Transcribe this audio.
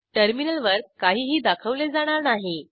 टर्मिनलवर काहीही दाखवले जाणार नाही